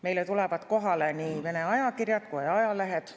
Meile tulevad kohale nii Vene ajakirjad kui ka ajalehed.